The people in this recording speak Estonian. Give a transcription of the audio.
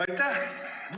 Aitäh!